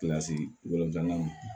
naani